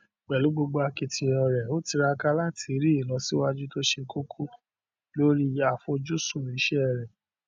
pẹ̀lú gbogbo akitiyan rẹ ó tiraka láti rí ìlọsíwájú tó ṣe kókó lórí àfojúsùn iṣẹ rẹ